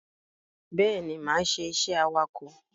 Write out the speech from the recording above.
Bẹ́ẹ̀ni, máa ṣe iṣẹ́ awakọ̀.